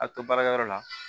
A to baarakɛyɔrɔ la